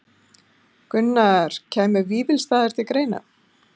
Gunnar: Kæmu Vífilsstaðir til greina?